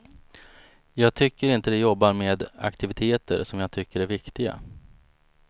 Jag tycker inte de jobbar med aktiviteter som jag tycker är viktiga.